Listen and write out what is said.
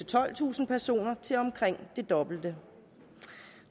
tolvtusind personer til omkring det dobbelte